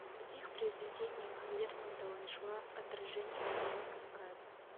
в каких произведениях лермонтова нашла отражение тема кавказа